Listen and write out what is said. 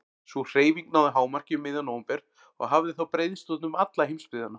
Sú hreyfing náði hámarki um miðjan nóvember og hafði þá breiðst út um alla heimsbyggðina.